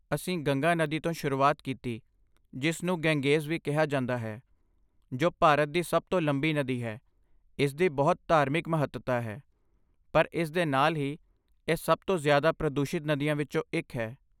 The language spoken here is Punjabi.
ਅਸੀਂ ਗੰਗਾ ਨਦੀ ਤੋਂ ਸ਼ੁਰੂਆਤ ਕੀਤੀ, ਜਿਸ ਨੂੰ ਗੈਂਜੇਜ਼ ਵੀ ਕਿਹਾ ਜਾਂਦਾ ਹੈ, ਜੋ ਭਾਰਤ ਦੀ ਸਭ ਤੋਂ ਲੰਬੀ ਨਦੀ ਹੈ, ਇਸਦੀ ਬਹੁਤ ਧਾਰਮਿਕ ਮਹੱਤਤਾ ਹੈ, ਪਰ ਇਸਦੇ ਨਾਲ ਹੀ, ਇਹ ਸਭ ਤੋਂ ਜ਼ਿਆਦਾ ਪ੍ਰਦੂਸ਼ਿਤ ਨਦੀਆਂ ਵਿੱਚੋਂ ਇੱਕ ਹੈ।